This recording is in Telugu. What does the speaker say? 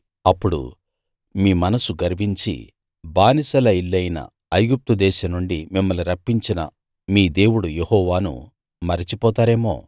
అప్పుడు మీ మనస్సు గర్వించి బానిసల ఇల్లైన ఐగుప్తు దేశం నుండి మిమ్మల్ని రప్పించిన మీ దేవుడు యెహోవాను మరచిపోతారేమో